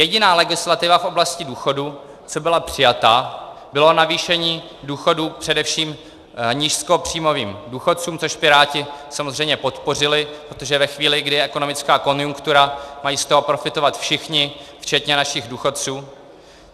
Jediná legislativa v oblasti důchodů, co byla přijata, bylo navýšení důchodů především nízkopříjmovým důchodcům, což Piráti samozřejmě podpořili, protože ve chvíli, kdy je ekonomická konjunktura, mají z toho profitovat všichni, včetně našich důchodců.